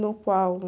No qual?